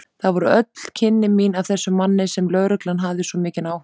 Það voru öll kynni mín af þessum manni sem lögreglan hafði svo mikinn áhuga á.